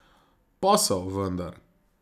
Posel, vendar.